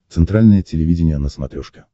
центральное телевидение на смотрешке